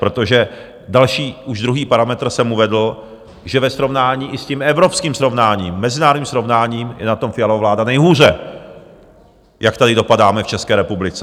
Protože další, už druhý parametr jsem uvedl, že ve srovnání i s tím evropským srovnáním, mezinárodním srovnáním, je na tom Fialova vláda nejhůře, jak tady dopadáme v České republice.